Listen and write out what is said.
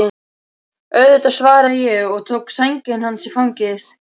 Auðvitað, svaraði ég og tók sængina hans í fangið.